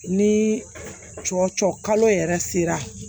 Ni cɔcɔ kalo yɛrɛ sera